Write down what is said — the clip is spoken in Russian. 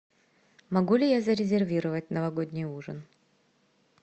могу ли я зарезервировать новогодний ужин